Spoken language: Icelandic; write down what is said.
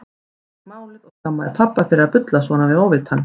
Mamma fékk málið og skammaði pabba fyrir að bulla svona við óvitann.